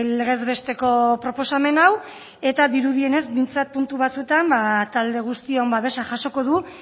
legez besteko proposamen hau eta dirudienez behintzat puntu batzuetan talde guztion babesa jasoko du